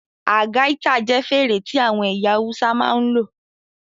Algaita jẹ́ fèrè tí àwọn ẹ̀yà Awúsá máa ń lò